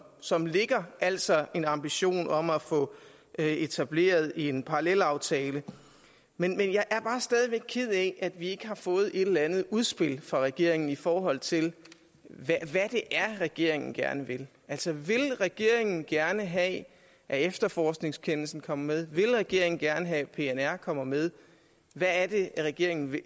som ligger altså en ambition om at få etableret en parallelaftale men jeg er bare stadig væk ked af at vi ikke har fået et eller andet udspil fra regeringen i forhold til hvad det er regeringen gerne vil altså vil regeringen gerne have at efterforskningskendelsen kommer med vil regeringen gerne have at pnr kommer med hvad er det regeringen vil